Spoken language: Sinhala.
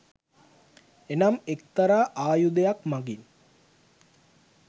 එනම් එක්තරා ආයුධයක් මඟින්